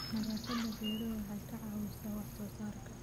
Nadaafadda beeruhu waxay ka caawisaa wax soo saarka.